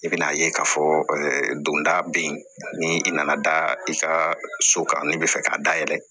I bɛn'a ye k'a fɔ donda bɛ yen ni i nana da i ka so kan ne bɛ fɛ ka dayɛlɛ